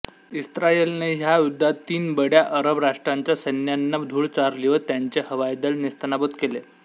इस्रायलने ह्या युद्धात तीन बड्या अरब राष्ट्रांच्या सैन्यांना धूळ चारली व त्यांचे हवाईदल नेस्तनाबूत केले